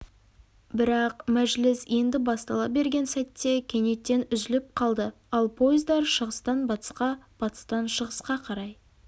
бірақ мәжіліс енді бастала берген сәтте кенеттен үзіліп қалды ал пойыздар шығыстан батысқа батыстан шығысқа қарай